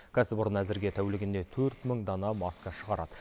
кәсіпорын әзірге тәулігіне төрт мың дана маска шығарады